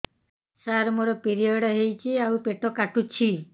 ସାର ମୋର ପିରିଅଡ଼ ହେଇଚି ଆଉ ପେଟ କାଟୁଛି